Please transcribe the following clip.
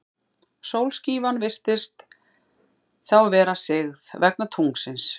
Sólskífan virðist þá vera sigð, vegna tunglsins.